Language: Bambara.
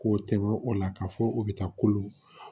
K'o tɛmɛn o la ka fɔ o be taa kolo